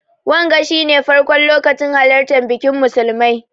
Wanga shi ne farkon lokacin halartan bikin musulmai.